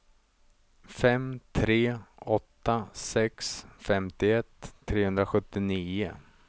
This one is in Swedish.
fem tre åtta sex femtioett trehundrasjuttionio